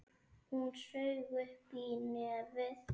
Hún saug upp í nefið.